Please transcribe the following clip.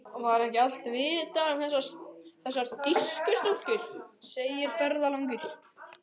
Var ekki allt vitað um þessar þýsku stúlkur, segir ferðalangur.